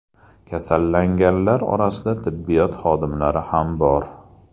Kasallanganlar orasida tibbiyot xodimlari ham bor .